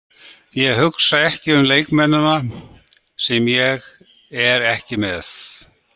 Ég hugsa ekki um leikmennina sem ég er ekki með.